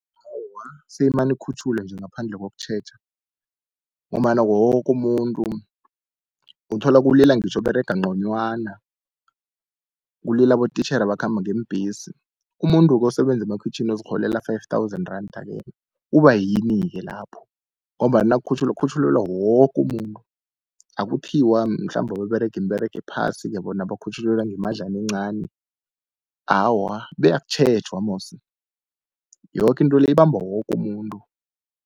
Awa, seyimane ikhutjhulwe nje ngaphandle kokutjheja, ngombana woke umuntu uthola kulila ngitjho oberega nconywana, kulila abotitjhere abakhamba ngeembhesi. Umuntu-ke osebenza emakhwitjhini ozirholela five thousand randa-ke, uba yini-ke lapho ngombana nakukhutjhulwa kukhutjhulelwa woke umuntu, akuthiwa mhlambe ababerega imiberego ephasi-ke bona bakhutjhulelwa ngemadlana encani. Awa abe akutjhejwa musi yoke into le ibamba woke umuntu.